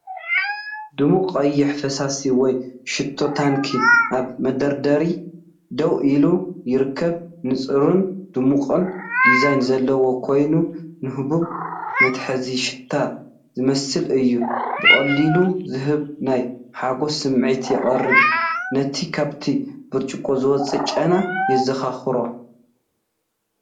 ድሙቕ ቀይሕ ፈሳሲ ወይ ሽቶ ታንኪ ኣብ መደርደሪ ደው ኢሉ ይርከብ። ንጹርን ድሙቕን ዲዛይን ዘለዎ ኮይኑ፡ ንህቡብ መትሓዚ ሽታ ዝመስል እዩ። ብቐሊሉ ዝስሕብ ናይ ሓጎስ ስምዒት የቕርብ፤ ነቲ ካብቲ ብርጭቆ ዝወጽእ ጨና የዘኻኽሮ።